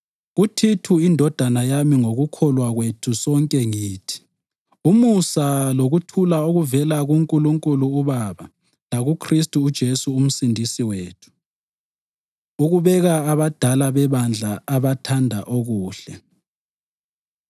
KuThithu indodana yami ngokukholwa kwethu sonke ngithi: Umusa lokuthula okuvela kuNkulunkulu uBaba lakuKhristu uJesu uMsindisi wethu. Ukubeka Abadala Bebandla Abathanda Okuhle